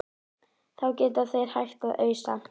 Fengu þó báðir að vera um nóttina.